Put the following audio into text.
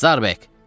Starbek!